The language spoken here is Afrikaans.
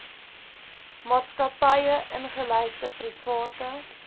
maatskappye ingelyfde private